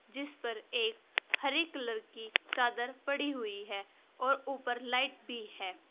जिस पर एक हरे कलर की चादर पड़ी हुई है और ऊपर लाइट भी है।